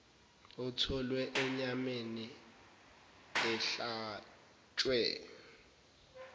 otholwe enyameni ehlatshwe